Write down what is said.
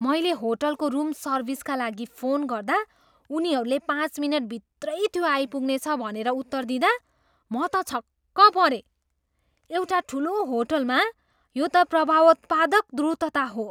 मैले होलटको रूम सर्विसका लागि फोन गर्दा उनीहरूले पाँच मिनट भित्रै त्यो आइपुग्नेछ भनेर उत्तर दिँदा म त छक्क परेँ। एउटा ठुलो होटलमा यो त प्रभावोत्पादक द्रुतता हो।